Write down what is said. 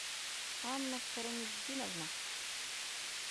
анна караметдиновна